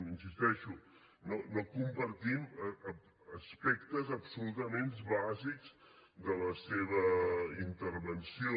hi insisteixo no compartim aspectes absolutament bàsics de la seva intervenció